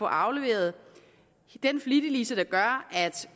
afleveret den flittiglise der gør at